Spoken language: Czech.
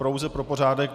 Pouze pro pořádek.